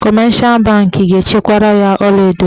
Kọmeshal bankị ga-echekwara ya ọlaedo ya.